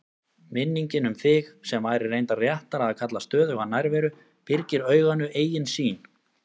Minningin um þig, sem væri reyndar réttara að kalla stöðuga nærveru, byrgir auganu eigin sýn.